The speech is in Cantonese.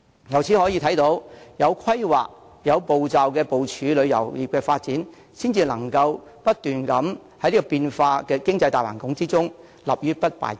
由此可見，有規劃、有步驟地部署旅遊業發展，才能在不斷變化的經濟大環境中立於不敗之地。